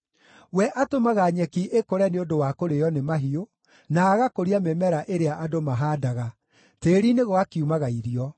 We atũmaga nyeki ĩkũre nĩ ũndũ wa kũrĩĩo nĩ mahiũ, na agakũria mĩmera ĩrĩa andũ mahaandaga, tĩĩri-inĩ gũgakiumaga irio: